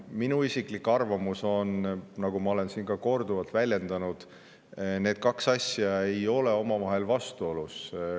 Minu isiklik arvamus on, nagu ma olen ka siin korduvalt väljendanud, et need kaks asja ei ole omavahel vastuolus.